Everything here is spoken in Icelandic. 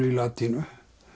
í latínu